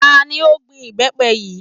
Tani ó gbin ìbẹ́pẹ yìí?